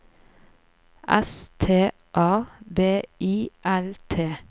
S T A B I L T